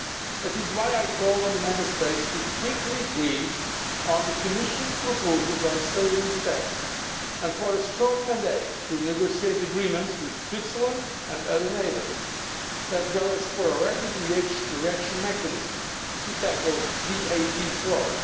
That is why I call on the Member States to reach a swift agreement on the Commission's proposals on savings tax and for a strong mandate to negotiate agreements with Switzerland and other neighbours, as well as for a rapid reaction mechanism to tackle VAT fraud.